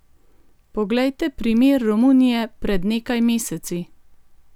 Poglejte primer Romunije pred nekaj meseci!